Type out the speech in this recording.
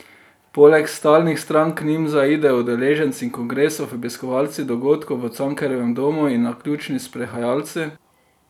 Poleg stalnih strank k njim zaidejo udeleženci kongresov, obiskovalci dogodkov v Cankarjevem domu in naključni sprehajalci.